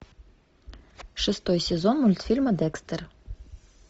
шестой сезон мультфильма декстер